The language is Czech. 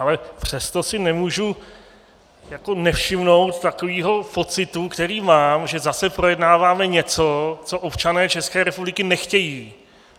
Ale přesto si nemůžu nevšimnout takového pocitu, který mám, že zase projednáváme něco, co občané České republiky nechtějí.